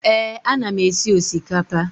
Ee, ana m esi osikapa.